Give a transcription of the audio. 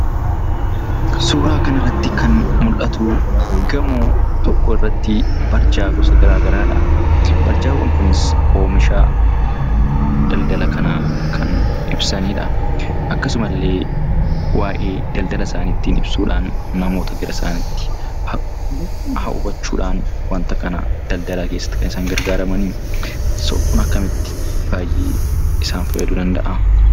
Suuraa kana irratti kan mul'atu, gamoo tokko irratti barja gosa gara garaadha. Barjaan kunis omishaa daladala kana kan ibsanidha. Akkasuma illee waa'ee daldala isaani ittin ibsuundhaan, namoota gara isanitti hawwachudhaan waanta kana daldalaa keessatti kan isaan gargaraman. Kanaaf, kun akkamitti baay'ee isaan faayadu danda'a?